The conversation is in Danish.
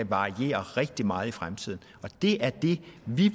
variere rigtig meget i fremtiden det er det vi